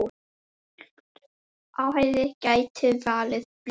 Slíkt athæfi gæti valdið blindu.